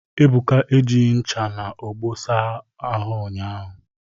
Ebuka ejighi ncha na ogbo saa ụnyahụ